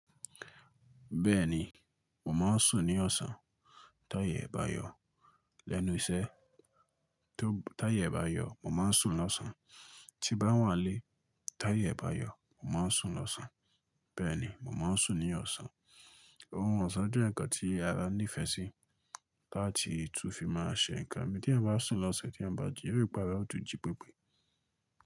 Bẹ́ẹ̀ni, mò máa ń sùn ní ọ̀sán. Táyè e bá yọ̀ lẹ́nu iṣẹ́, tó táyè e bá yọ̀ mò máa ń sùn lọ́sàn. Tí bá wà n lé, táyè e bá yọ̀ mò máa ń sùn lọ́sàn. Bẹ́ẹ̀ ni, mò máa ń sùn ní ọ̀sán. Ohun ọ̀sán jẹ́ nǹkan tí ara níìfẹ̀ sí láti tún fi máa ṣe nǹkan mi. Tí è bá sùn lọ́sàn, tí è bá jiyì, yóò rí ipa rẹ̀ óò tún jí pípé.